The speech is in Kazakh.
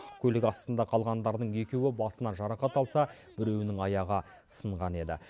көлік астында қалғандардың екеуі басынан жарақат алса біреуінің аяғы сынған еді